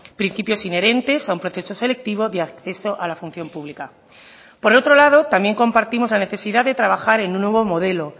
principios inherentes a un proceso selectivo de acceso a la función pública por otro lado también compartimos la necesidad de trabajar en un nuevo modelo